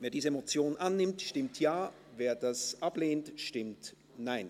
Wer diese Motion annimmt, stimmt Ja, wer dies ablehnt, stimmt Nein.